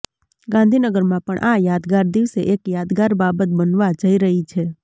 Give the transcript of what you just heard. ગાંધીનગરમાં પણ આ યાદગાર દિવસે એક યાદગાર બાબત બનવા જઈ રહી છે